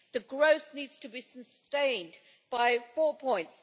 The growth needs to be sustained by four points.